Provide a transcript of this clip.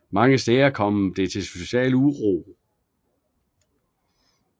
Mange steder kom det til social uro